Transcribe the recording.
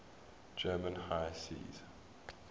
german high seas